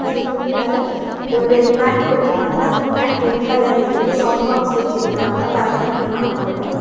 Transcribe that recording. அந்தப் புள்ளு மேல ஒரு மேட் போட்ருக்காங்க அந்த மேட் ரெட் கலர்ல இருக்கு சவுண்ட் பாக்ஸ் வெச்சிருக்காங்க பரதநாட்டியம் ஆட்றாங்க.